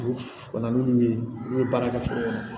U ka na n'olu ye n'u ye baara kɛ foro kɔnɔ